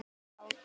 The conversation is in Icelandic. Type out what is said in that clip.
Dreg frá.